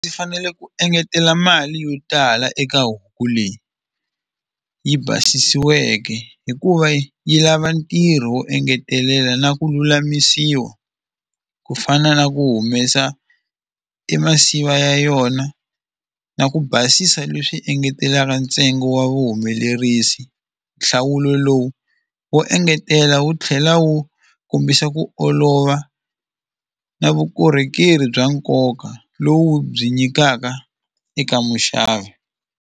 Ndzi fanele ku engetela mali yo tala eka huku leyi yi basisiweke hikuva yi lava ntirho wo engetelela na ku lulamisiwa ku fana na ku humesa i masiva ya yona na ku basisa leswi engetelaka ntsengo wa vuhumelerisi nhlawulo lowu wo engetela wu tlhela wu kombisa ku olova na vukorhokeri bya nkoka lowu byi nyikaka eka muxavi.